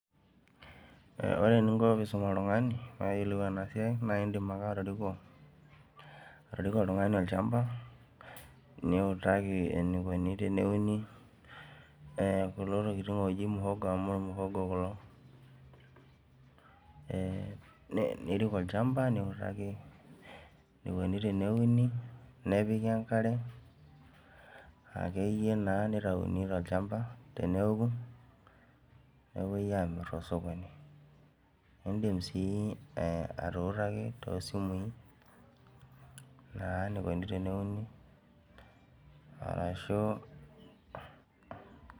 Ore eninko peisum oltungani peyiolou enasiai na indim ake atoriko niutaki eniko teneuni kuna tokitin naji mihogo amu mihogo kulo ee nirik olchamba niutaki enikuni teneuni akeyie nitauni tolchamba teneoku nepuoi amir tosokoni indim sia atuutaki tosimui eniko teneuni arashu